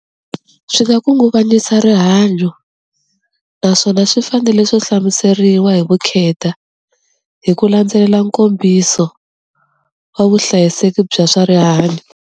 Swi nga khunguvanyisa rihanyo naswona swi fanele swo hlamuseriwa hi vukheta hi ku landzelela nkombiso wa vuhlayiseki bya swa rihanyo.